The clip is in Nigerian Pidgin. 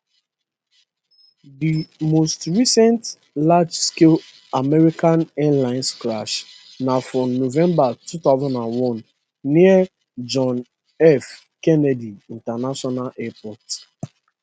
di most recent largescale american airlines crash na for november 2001 near john f kennedy international airport